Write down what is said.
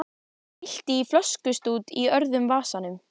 Það glitti í flöskustút í öðrum vasanum.